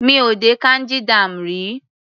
Mi ò dé Kanji dam rí.